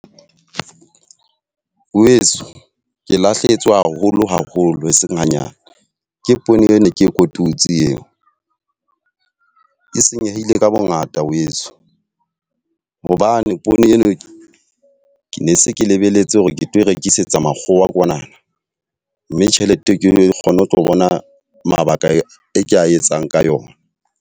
Weso, ke lahlehetswe haholo haholo eseng hanyane ke poone e ne ke kotutsi eo. E senyehile ka bo ngata weso hobane poone eo ke ne se ke lebelletse hore ke tlo rekisetsa makgowa kwanana. Mme tjhelete ke kgone ho tlo bona mabaka e ka etsang ka yona.